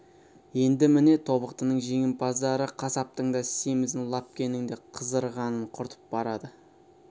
енді міне тобықтының жемпаздары қасаптың да семізін лапкенің де қызарғанын құртып барады